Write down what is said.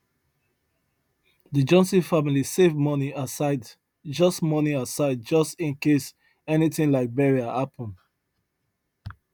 the johnson family save money aside just money aside just in case anything like burial happen